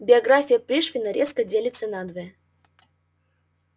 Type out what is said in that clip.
биография пришвина резко делится надвое